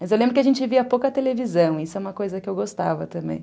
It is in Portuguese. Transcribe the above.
Mas eu lembro que a gente via pouca televisão, isso é uma coisa que eu gostava também.